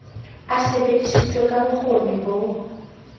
e sebedisitswe ka bokgoni bo